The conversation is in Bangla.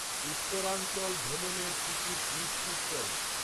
উত্তরাঞ্চল ভ্রমণের টিকিট নিশ্চিত করো